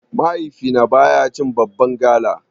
Mahaifina baya cin babban gala.